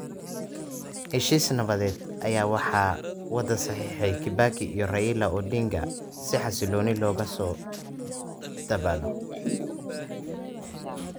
Heshiis nabadeed ayaa waxaa wada saxiixday Kibaki iyo Raila Odinga si xasilooni loogu soo dabaalo.